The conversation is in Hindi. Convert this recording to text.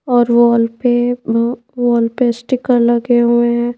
और वॉल पे म्म वॉल पे स्टीकर लगे हुए हैं ।